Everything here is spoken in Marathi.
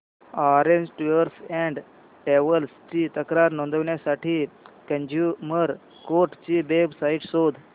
ऑरेंज टूअर्स अँड ट्रॅवल्स ची तक्रार नोंदवण्यासाठी कंझ्युमर कोर्ट ची वेब साइट शोध